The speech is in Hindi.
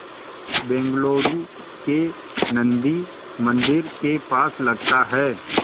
बेंगलूरू के नन्दी मंदिर के पास लगता है